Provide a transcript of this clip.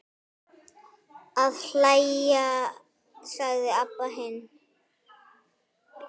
Að hlæja, sagði Abba hin.